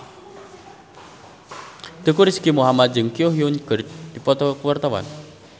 Teuku Rizky Muhammad jeung Ko Hyun Jung keur dipoto ku wartawan